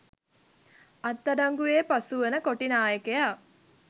අත්අඩංගුවේ පසුවන කොටිනායකයා